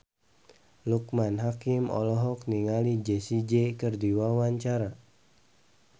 Loekman Hakim olohok ningali Jessie J keur diwawancara